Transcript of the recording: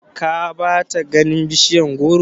ka bata ganin bishiyar goro?